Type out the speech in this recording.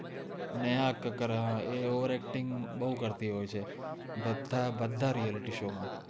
નેહા કક્કર આ એ over acting બૌ કર્તિ હોએ છે બદ્દા realityshow મા